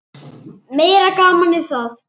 Meira gamanið það!